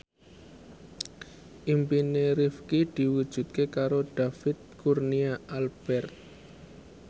impine Rifqi diwujudke karo David Kurnia Albert